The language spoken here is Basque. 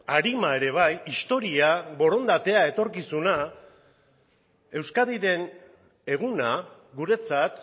arima ere bai historia borondatea etorkizuna euskadiren eguna guretzat